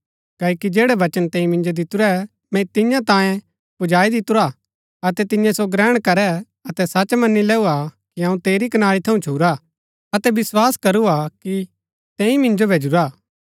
क्ओकि जैड़ै वचन तैंई मिन्जो दितुरै मैंई तियां जो तियां तांयें पुजाई दितुरा अतै तियें सो ग्रहण करै अतै सच मनी लैऊ हा कि अऊँ तेरी कनारी थऊँ छूरा हा अतै विस्वास करू हा कि तैंई मिन्जो भैजुरा हा